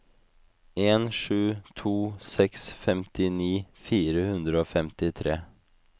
en sju to seks femtini fire hundre og femtitre